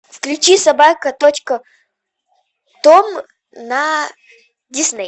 включи собака точка том на дисней